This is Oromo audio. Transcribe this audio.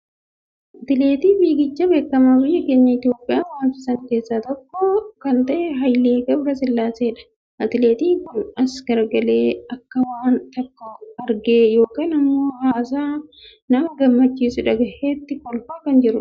Atileetii fiigichaa beekamaa biyya keenya Itiyoophiyaa waamsisan keessaa tokko kan ta'e Haayilee Gabrasillaaseedha. Atileetiin kun as garagaree akka waan tokko argee yookiin ammoo haasaa nama gammachiisu dhagayeetti kolfaa kan jirudha.